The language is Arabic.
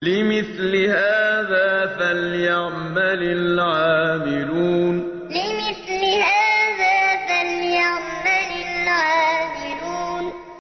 لِمِثْلِ هَٰذَا فَلْيَعْمَلِ الْعَامِلُونَ لِمِثْلِ هَٰذَا فَلْيَعْمَلِ الْعَامِلُونَ